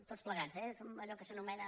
tots plegats eh som allò que s’anomena